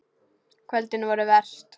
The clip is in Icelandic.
Kvöldin voru verst.